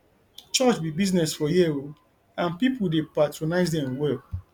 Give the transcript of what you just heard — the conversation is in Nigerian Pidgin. church be business for here o and people dey patronize dem well